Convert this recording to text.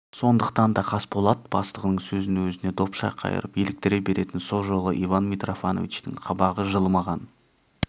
сондықтан да қасболат бастығының сөзін өзіне допша қайырып еліктіре беретін со жолы иван митрофановичтің қабағы жылымаған